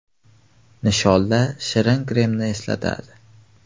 Nisholda shirin kremni eslatadi.